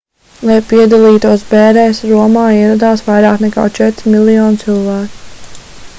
lai piedalītos bērēs romā ieradās vairāk nekā četri miljoni cilvēku